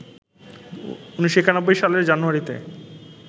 ১৯৯১ সালের জানুয়ারিতে